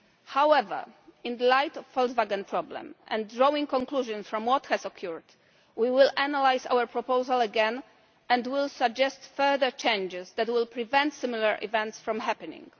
However, in light of the Volkswagen problem, and drawing conclusions from what has occurred, we will analyse our proposal again and will suggest further changes that will prevent similar events from happening.